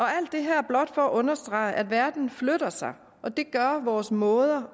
alt det her blot for at understrege at verden flytter sig og det gør vores måde